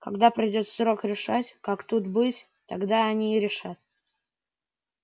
когда придёт срок решать как тут быть тогда они и решат